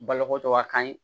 Balokotoba kan